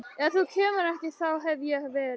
Ef þú kemur ekki þá hef ég verið